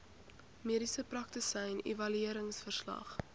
mediese praktisyn evalueringsverslag